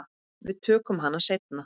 Við tökum hana seinna.